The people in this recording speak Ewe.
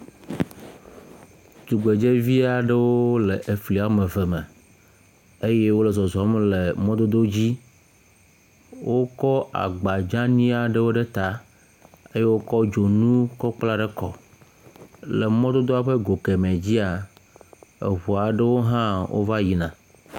tugbedzɛvi aɖewo le le fli eve me eye wóle zɔzɔm le mɔdodo dzi wokɔ agba dzaniaɖewo ɖe ta kɔ dzonu kɔ kpla ɖe kɔme le mɔdodoɔ ƒe go kemɛ dzia eʋu aɖewo va yina